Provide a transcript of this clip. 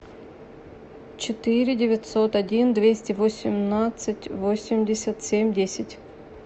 четыре девятьсот один двести восемнадцать восемьдесят семь десять